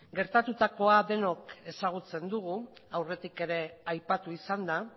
gertatutakoa denok ezagutzen dugu aurretik ere aipatu izan da